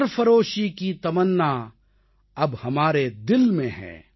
सरफ़रोशी की तमन्ना अब हमारे दिल में है